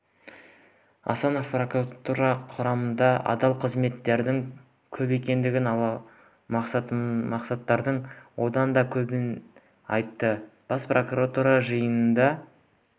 асанов прокуратура құрамында адал қызметкерлердің көп екенін ал масылдардың одан да көбін айтты бас прокурор жиында